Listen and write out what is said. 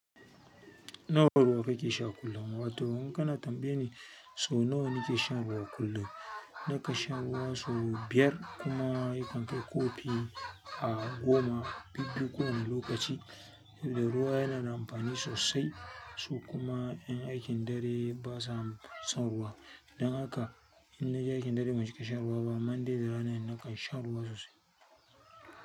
Nawa ruwa kake sha kullum? Wato in kana tambaya ne so nawa nake shan ruwa kullum. Naka shan ruwa sau biyar kuma ya kan kai kofi a goma. Bibbiyu kowane lokaci. Tun da ruwa yana da amfani sosai, so kuma ƴan aikin dare basa son ruwa. Dan haka in na je aikin dare ban cika shan ruwa ba. Amma in dai da rana ne na kan shan ruwa sosai.